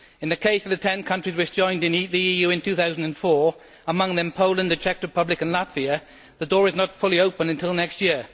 In the case of the 10 countries which joined the EU in 2004 among them Poland, the Czech Republic and Latvia the door is not fully open until next year.